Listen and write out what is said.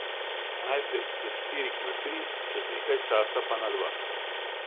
Najprej s štirih na tri, čez nekaj časa pa na dva.